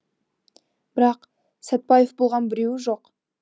бірақ сәтпаев болған біреуі жоқ